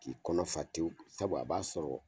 K'i kɔnɔ fa tewu sabu a b'a sɔrɔ